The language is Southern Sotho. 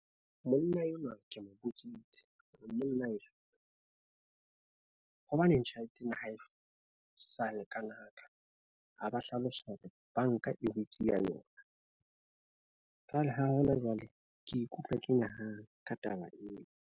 Monna enwa ke mo botsitse hore monna wa heso hobaneng tjhelete ena ha e sa le ka ha ba hlalosa hore banka ya yona. Jwale ha hona jwale ke ikutlwa ke nyahame ka taba eo.